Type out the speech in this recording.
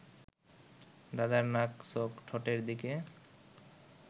দাদার নাক চোখ ঠোঁটের দিকে